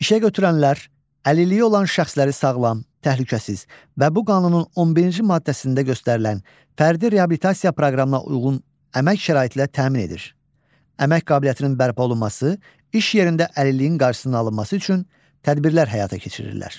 İşəgötürənlər, əlilliyi olan şəxsləri sağlam, təhlükəsiz və bu qanunun 11-ci maddəsində göstərilən fərdi reabilitasiya proqramına uyğun əmək şəraiti ilə təmin edir, əmək qabiliyyətinin bərpa olunması, iş yerində əlilliyin qarşısının alınması üçün tədbirlər həyata keçirirlər.